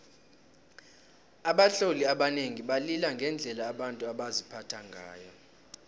abatloli abanengi balila ngendlela abantu baziphatha ngayo